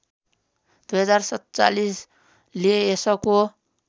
२०४७ ले यसको